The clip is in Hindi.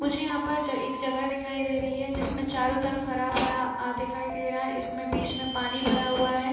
मुझे यहां पर ए-एक जगह दिखाई दे रही है जिसमें चारों तरफ हरा-भरा अ दिखाई दे रहा है इसमें बीच में पानी भरा हुआ है।